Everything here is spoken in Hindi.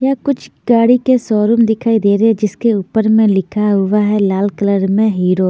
यहाँ कुछ गाडी के शोरूम दिखाई दे रहे है जिसके ऊपर में लिखा हुआ है लाल कलर में हीरो --